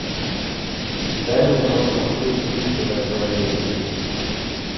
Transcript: дай мне посмотреть питера фаррелли